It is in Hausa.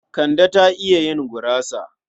Kande ta iya yin gurasa.